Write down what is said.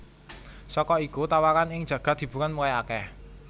Saka iku tawaran ing jagad hiburan mulai akeh